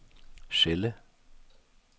celle